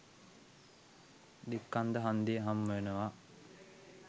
දික්කන්ද හන්දිය හම්බවෙනවා.